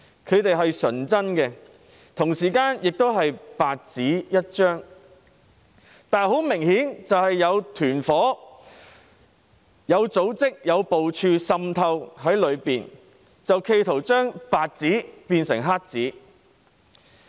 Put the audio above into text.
他們是純真的，同時亦是白紙一張，但很明顯有團夥和組織有部署地滲透在其中，企圖把白紙變成黑紙。